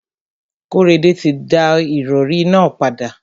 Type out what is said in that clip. Kóredé ti da ìrọrí nà padà.